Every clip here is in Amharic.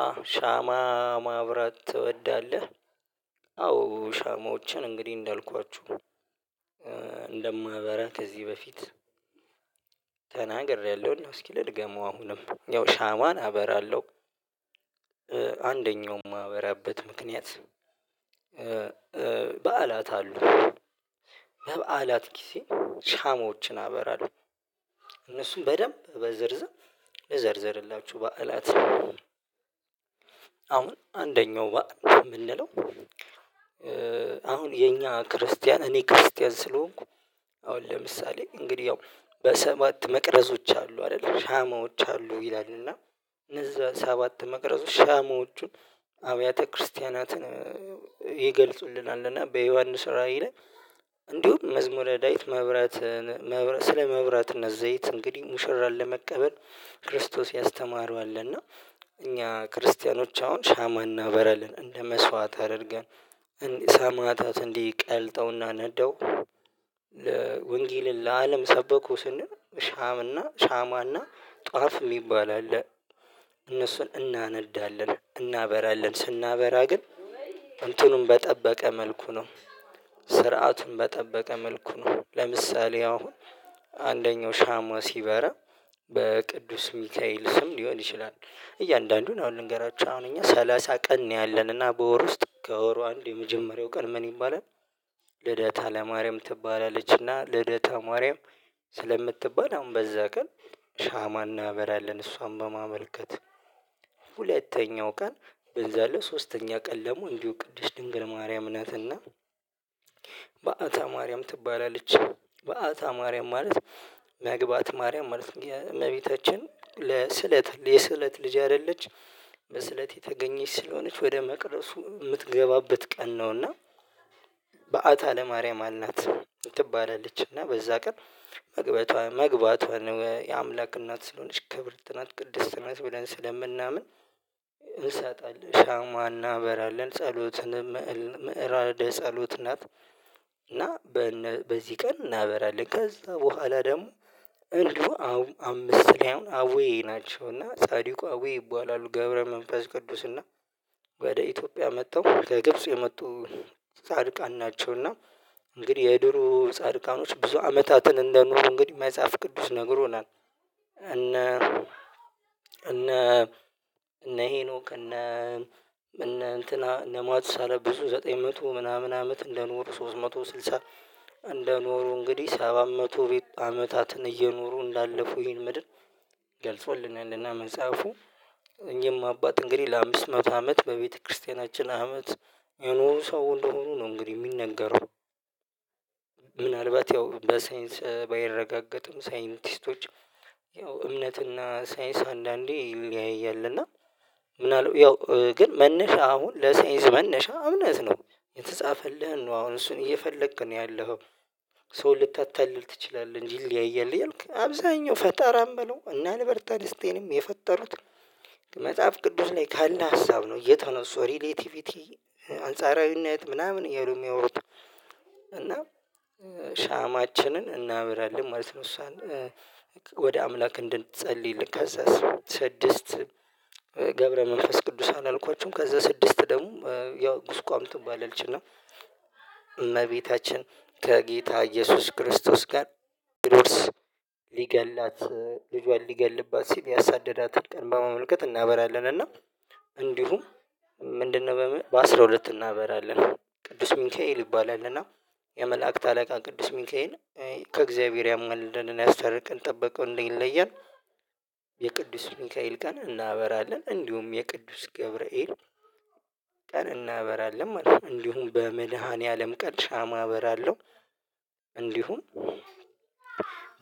አዎ ሻማ ማብራት ትወዳለህ? አዎ ሻማዎችን እንግዲህ እንዳልኳችሁ እንደማበራ ከዚህ በፊት ተናግሬያለሁ እስኪ ልድገመው አሁንም ያው ሻማን አበራለሁ። ማህበራበት ምክንያት በዓላት አሉ በበዓላት ጊዜ ሻሞዎችን አበራለሁ እነሱም በደንብ በዝርዝር ልዘርዘርላችሁ። በዓላት አሁን አንደኛው የምንለው አሁን የኛ ክርስቲያን እኔ ክርስቲያን ስለሆንኩ። አሁን ለምሳሌ እንግዲህ ያው በሰባት መቅረዞች አሉ አይደለ ሻማዎች አሉ ይላል እና እነዛ ሰባት መቅረዙ ሻሞቹን አብያተ ክርስቲያናትን ይገልጹልናል። እና በዮሐንስ ራዕይ ላይ መዝሙረ ዳዊት ማብራት ስለመብራትነት ዘይት እንግዲህ ሙሽራን ለመቀበል ክርስቶስ ያስተማረው አለ። እና እኛ ክርስቲያኖች አሁን ሻማ እናበራልን እንደ መስዋዕት አድርገን ሰማዕታት እንዲህ ቀልጠው እና ነደው ወንጌልን ለአለም ሰበኩ ስንል ሻም እና ሻማ እና ጧፍ የሚባል አለ። እነሱን እናነዳለን እናበራለን ስናበራ ግን እንትኑን በጠበቀ መልኩ ነው። ስርዓቱን በጠበቀ መልኩ ነው። ለምሳሌ አሁን አንደኛው ሻማ ሲበራ በቅዱስ ሚካኤል ስም ሊሆን ይችላል። እያንዳንዱን አሁን ልንገራችሁ አሁን እኛ ሰላሳ ቀን ነው ያለን እና በወር ውስጥ ከወሩ አንድ የመጀመሪያው ቀን ምን ይባላል? ልደታ ለማርያም ትባላለችና ልደታ ማርያም ስለምትባል አሁን በዛ ቀን ሻማ እናበራለን እሷን በማመልከት። ሁለተኛው ቀን ብንዘለው ሶስተኛ ቀን ደግሞ እንዲሁ ቅድስት ድንግል ማርያም ናትና። በአታ ማርያም ትባላለች በአታ ማርያም ማለት መግባት ማርያም ማለት ነው። የእመቤታችን ለስለት የስለት ልጅ አይደለች በስለት የተገኘች ስለሆነች ወደ መቅደሱ ምትገባበት ቀን ነውና። በአታ ለማርያም አልናት ትባላለች እና በዛ ቀን መግባቷ መግባቷ ነው የአምላክ እናት ስለሆነች ክብርት ናት ቅድስት ናት ብለን ስለምናምን። እንሰጣለን ሻማ እናበራለን ጸሎትንም ምዕራደ ጸሎት ናት። እና በነ በዚህ ቀን እናበራለን ከዛ በኋላ ደግሞ እንዲሁ አምስት ላይ አሁን አቡዬ ናቸው እና ጻድቁ አቡዬ ይባላሉ ገብረ መንፈስ ቅዱስ እና ወደ ኢትዮጵያ መጥተው ከግብጽ የመጡ ጻድቃን ናቸው። እና እንግዲህ የድሮ ጻድቃኖች ብዙ አመታትን እንደኖሩ እንግዲህ መጽሐፍ ቅዱስ ነግሮናል። እነ እነ ሄኖክ እነ እነ እንትና እነ ማቱሳላ ብዙ ዘጠኝ መቶ ምናምን አመት እንደኖሩ ሶስት መቶ ስልሳ እንደኖሩ እንግዲህ ሰባት መቶ ቤት አመታትን እየኖሩ እንዳለፉ ይሄን ምድር። ገልጾል እና መጽሐፉ እኝህም አባት እንግዲህ ለአምስት መቶ አመት በቤተክርስቲያናችን አመት የኖሩ ሰው እንደሆኑ ነው እንግዲህ ሚነገረው። ምናልባት ያው በሳይንስ ባይረጋገጥም ሳይንቲስቶች ያው እምነትና ሳይንስ አንዳንዴ ይለያያል። እና ምናሉ ያው ግን መነሻ አሁን ለሳይንስ መነሻ እምነት ነው። የተጻፈልህን ነው አሁን እሱን እየፈለክ ነው ያለኸው። ሰው ልታታልል ትችላለህ እንጂ ይለያያል እያልክ አብዛኛው ፈጠራም በለው እነ አልበርታይንስታይንም የፈጠሩት። መጽሐፍ ቅዱስ ላይ ካለ ሀሳብ ነው የተነሱ ሪሌቲቪቲ አንጻራዊነት ምናምን እያሉ ሚያወሩት። እና ሻማችንን እናበራለን ማለት ነው። እሷን ወደ አምላክ እንድንጸልይልን ከዛ ስድስት ገብረ መንፈስ ቅዱስ አላልኳችሁም ከዛ ስድስት ደግሞ ያው ጉስቋም ትባላለች እና እመቤታችን ከጌታ ኢየሱስ ክርስቶስ ጋር ቢሮድስ ሊገላት ልጇን ሊገልባት ሲል ያሳደዳትን ቀን በማመልከት እናበራለን። እና እንዲሁም ምንድነው? በምን በአስራ ሁለት እናበራለን ቅዱስ ሚካኤል ይባላል እና የመላእክት አለቃ ቅዱስ ሚካኤል ከእግዚአብሔር ያማልዳል እና ያስታርቀን ጥበቃው እንዳይለየን የቅዱስ ሚካኤል ቀን እናበራለን። እንዲሁም የቅዱስ ገብርኤል ቀን እናበራለን ማለት ነው። እንዲሁም በመድሃንያዓለም ቀን ሻማ አበራለሁ። እንዲሁም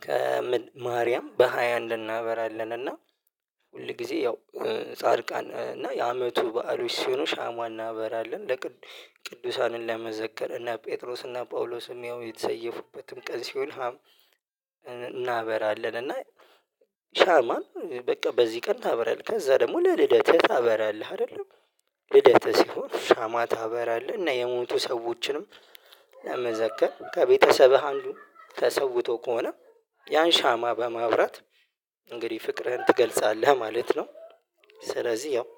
ከምን ማርያም በሃያ አንድ እናበራለን እና ሁል ጊዜ ያው ጻድቃን እና የአመቱ በዓሎች ሲሆኑ ሻማ እናበራለን ለቅዱ ቅዱሳንን ለመዘከር እነ ጴጥሮስና ጳውሎስም ያው የተሰየፉበትም ቀን ሲሆን። እናበራለን። እና ሻማን በቃ በዚህ ቀን ታበራለህ። ከዛ ደግሞ ለልደትህ ታበራለህ አይደለም ልደትህ ሲሆን ሻማ ታበራለህ እና የሞቱ ሰዎችንም ለመዘከር ከቤተሰብህ አንዱ ተሰውቶ ከሆነ ያን ሻማ በማብራት እንግዲህ ፍቅርህን ትገልጻለህ ማለት ነው። ስለዚህ ያው